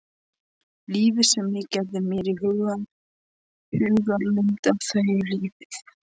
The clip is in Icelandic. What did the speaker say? Lífið sem ég gerði mér í hugarlund að þau lifðu.